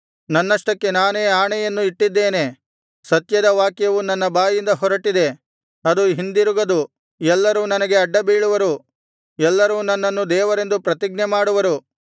ನನ್ನಷ್ಟಕ್ಕೆ ನಾನೇ ಆಣೆಯನ್ನು ಇಟ್ಟಿದ್ದೇನೆ ಸತ್ಯದ ವಾಕ್ಯವು ನನ್ನ ಬಾಯಿಂದ ಹೊರಟಿದೆ ಅದು ಹಿಂದಿರುಗದು ಎಲ್ಲರೂ ನನಗೆ ಅಡ್ಡಬೀಳುವರು ಎಲ್ಲರೂ ನನ್ನನ್ನು ದೇವರೆಂದು ಪ್ರತಿಜ್ಞೆಮಾಡುವರು